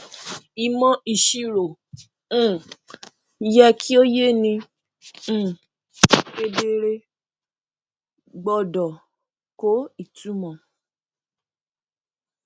ìmọ ìṣirò um yẹ kí ó yé ni um kedere gbọdọ kó ìtumọ